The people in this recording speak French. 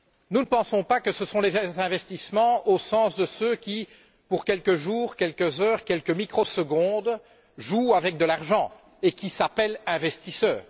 Nous ne pensons pas que ce soient les investissements au sens de ceux qui, pour quelques jours, quelques heures ou quelques microsecondes, jouent avec de l'argent et qui s'appellent investisseurs.